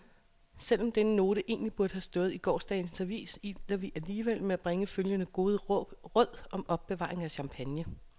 Selv om denne note egentlig burde have stået i gårsdagens avis, iler vi alligevel med at bringe følgende gode råd om opbevaring af champagne.